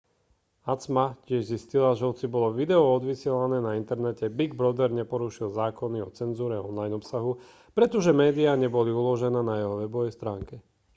acma tiež zistila že hoci bolo video odvysielané na internete big brother neporušil zákony o cenzúre online obsahu pretože médiá neboli uložené na jeho webovej stránke